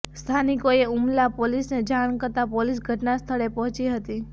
સ્થાનિકોએ ઉમલ્લા પોલીસને જાણ કરતા પોલીસ ઘટના સ્થળે પહોંચી હતી